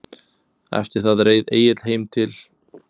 Eftir það reið Egill heim til